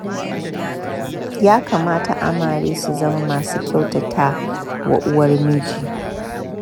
Ya kamata amare su zama masu kyautatta wa uwar miji